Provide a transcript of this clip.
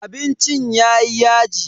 Abincin yayi yaji.